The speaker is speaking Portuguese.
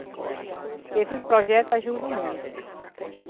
Porque esses projetos ajudam muito.